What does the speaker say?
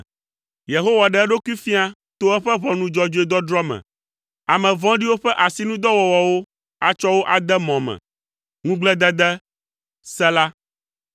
Yehowa ɖe eɖokui fia to eƒe ʋɔnu dzɔdzɔe dɔdrɔ̃ me; ame vɔ̃ɖiwo ƒe asinudɔwɔwɔwo atsɔ wo ade mɔ me. Ŋugbledede. Sela